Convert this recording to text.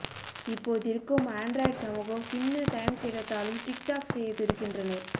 இப்போதிருக்கும் Android சமூகம் சின்ன time கிடைத்தாலும் டிக் டாக் செய்ய துடிக்கின்றனர்